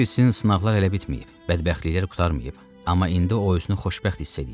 Ola bilsin sınaqlar hələ bitməyib, bədbəxtliklər qurtarmayıb, amma indi o özünü xoşbəxt hiss eləyirdi.